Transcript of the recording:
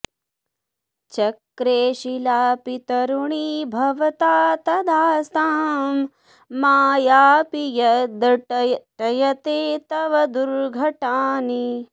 चक्रे शिलापि तरुणी भवता तदास्तां मायापि यद्धटयते तव दुर्घटानि